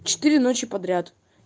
четыре ночи подряд